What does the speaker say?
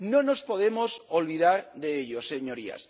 No nos podemos olvidar de ello, señorías.